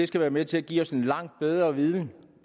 skal være med til at give os en langt bedre viden